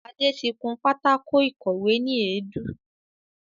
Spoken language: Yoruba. Adé tí kún pátákò ìkọ́we ni èédú